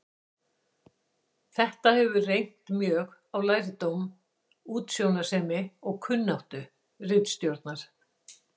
Þetta hefur reynt mjög á lærdóm, útsjónarsemi og kunnáttu ritstjórnar.